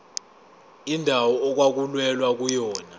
indawo okwakulwelwa kuyona